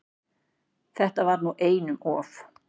Þetta var nú einum of!